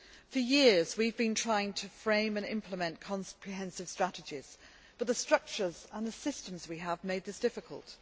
For years, we have been trying to frame and implement comprehensive strategies but the structures and the systems we had made this difficult.